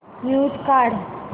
mute काढ